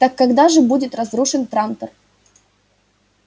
так когда же будет разрушен трантор